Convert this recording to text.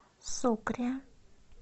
сукре